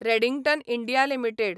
Redington India limited